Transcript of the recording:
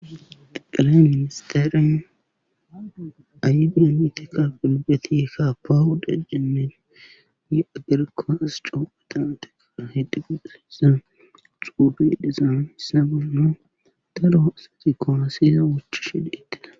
qaqale ministeren alibiya miteka bilbeti ka pawuda gemmen ye agerkaos cophetan teka hedi gudesa xuufi dizaan hissa gollo daro asati koolosiza wochishi beetida